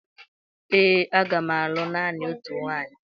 Ee, m ga-alụ naanị otu nwaanyị